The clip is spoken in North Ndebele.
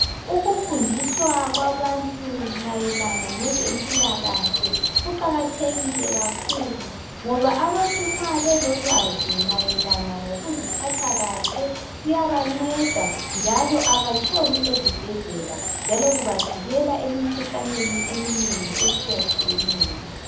ukufundiswa kwabantu mayelana lezempilakahle kuqkathekile kakhulu ngoba abantu nxa belolwazi mayelana ngokuziphatha kahle kuyabanceda njalo abatshoni ezibhedlela kubavikela emikhuhlaneni eminengi etshiyetshiyeneyo